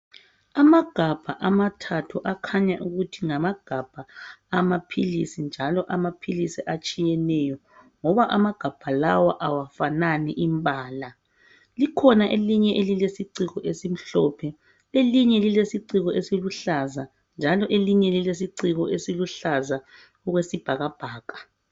Amagabha amathathu akhanya ukuthi ngamagabha amaphilisi njalo amaphilisi atshiyeneyo ngoba amagabha lawa awafanani imbala likhona elinye elilesiciko esimhlophe elinye lilesiciko esiluhlaza njalo elinye lilesiciko esiluhlaza okwesibhakabhaka.